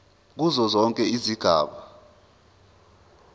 kuzo zonke izigaba